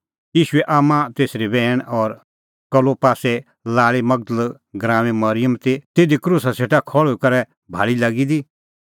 ईशूए आम्मां तेसरी बैहण और कलोपासे लाल़ी मगदल़ गराऊंए मरिअम ती तिधी क्रूसा सेटा खल़्हुई करै भाल़ी लागी दी